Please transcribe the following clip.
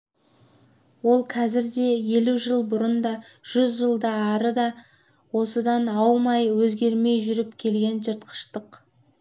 ол қазір де елу жыл бұрын да жүз жылдан ары да осыдан аумай өзгермей жүріп келген жыртқыштық